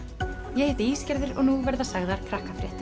ég heiti og nú verða sagðar